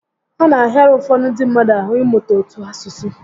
Ọ na ahịara ụfọdụ ndị mmadụ ahụ ịmụta otu asụsụ